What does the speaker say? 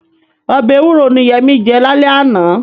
Ọbẹ̀ ewúro ni Yẹmí jẹ lálẹ́ àná.